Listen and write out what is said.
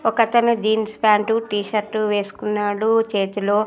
ఒకతను jeans pant T shirt వేసుకున్నాడు చేతిలో--